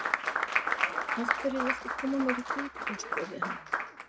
Sigurinn var þó torsóttur í meira lagi.